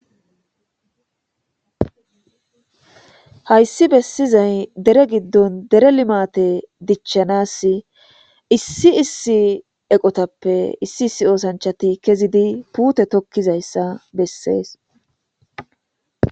Haysi bessizay Deere gidon Deere climate dichanasi issi issi eqotappe issi issi osanchati kezidi puute tokizaysa besses.